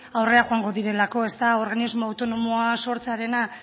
aurrera joango direlako organismo autonomoa sortzearena